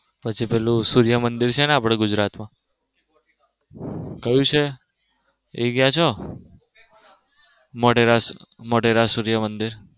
પછી પેલું આપડે સૂર્ય મંદિર છે ને આપડા ગુજરાત માં ક્યુ છે એ ગયા છો મોઢેરા સૂર્ય મંદિર.